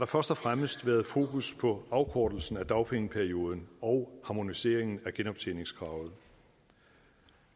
først og fremmest været fokus på afkortelsen af dagpengeperioden og harmoniseringen af genoptjeningskravet